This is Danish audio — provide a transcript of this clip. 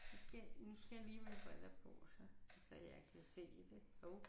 Så skal nu skal jeg lige have mine briller på så så jeg kan se det hov